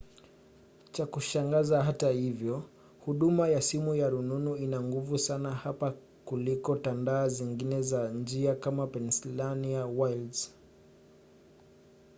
cha kushangaza hata hivyo huduma ya simu ya rununu ina nguvu sana hapa kuliko tandaa zingine za njia kama pennsylvania wilds